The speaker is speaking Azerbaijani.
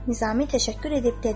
Nizami təşəkkür edib dedi: